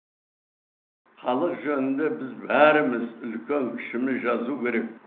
халық жанында біз бәріміз үлкен кішіміз жазу керек